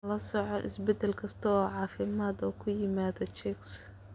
La soco isbedel kasta oo caafimaad oo ku yimaada chicks.